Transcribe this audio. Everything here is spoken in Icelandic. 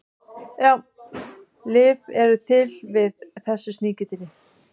lyf eru til við þessu sníkjudýri